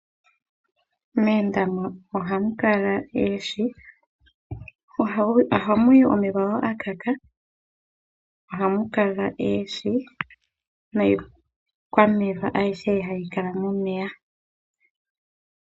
Moondama ohamu kala oohi, ohamu yi omeya ngoka ga gagala. Ohamu kala oohi niikwameya ayihe mbyoka hayi kala momeya.